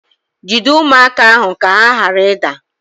Jide ụmụaka ahụ ka ha ghara ịda